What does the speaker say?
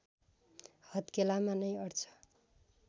हत्केलामा नै अट्छ